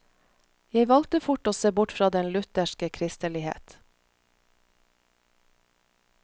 Jeg valgte fort å se bort fra den lutherske kristelighet.